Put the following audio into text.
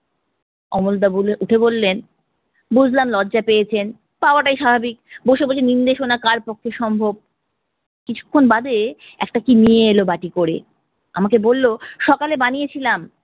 অমলদা বলে উঠে বললেন, বুঝলাম লজ্জা পেয়েছেন, পাওয়াটাই স্বাভাবিক, বসে বসে নিন্দে শোনা কার পক্ষ্যে সম্ভব। কিছুক্ষন বাদে একটা কি নিয়ে এলো বাটি করে, আমাকে বললো সকালে বানিয়েছিলাম